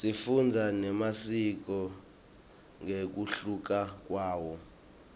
sifundza nemasiko ngekuhluka kwawo